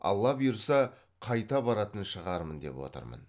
алла бұйырса қайта баратын шығармын деп отырмын